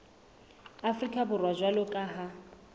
afrika borwa jwalo ka ha